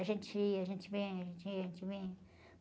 A gente ia, a gente vinha, a gente ia, a gente vinha.